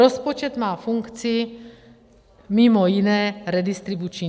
Rozpočet má funkci, mimo jiné, redistribuční.